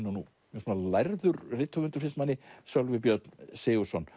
mjög lærður rithöfundur finnst manni Sölvi Björn Sigurðsson